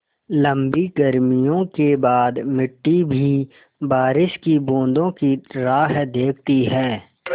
लम्बी गर्मियों के बाद मिट्टी भी बारिश की बूँदों की राह देखती है